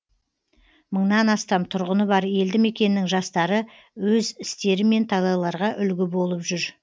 мыңнан астам тұрғыны бар елді мекеннің жастары өз істерімен талайларға үлгі болып жүр